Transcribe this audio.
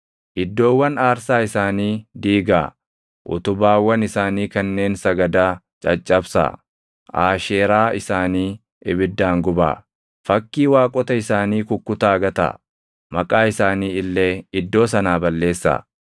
iddoowwan aarsaa isaanii diigaa; utubaawwan isaanii kanneen sagadaa caccabsaa; Aasheeraa isaanii ibiddaan gubaa; fakkii waaqota isaanii kukkutaa gataa; maqaa isaanii illee iddoo sanaa balleessaa.